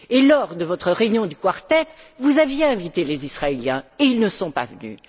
Lors de votre réunion du Quartet, vous aviez invité les Israéliens et ils ne sont pas venus.